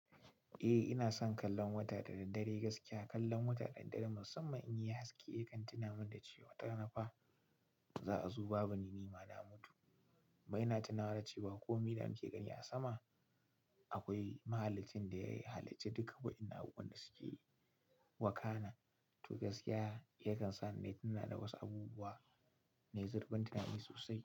Eh ina son kallon wata da daddare, gaskiya kallon wata da daddare musamman in yayi haske, ya kan tuna min da cewa watara na fa za a zo babu ni nima na mutu. Ba ina tunawa da cewa ko me na muke gani a sama, akwai Mahaliccin da ya halicci duka wa'innan abubuwan da suke wakana. To gaskiya ya kan sa ni na tuna da wasu abubuwa na yi zurfin tunani sosai.